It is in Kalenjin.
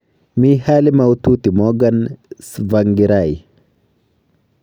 Mi hali maututi Morgan Tsvangirai